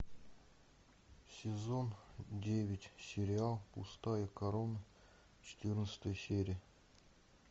сезон девять сериал пустая корона четырнадцатая серия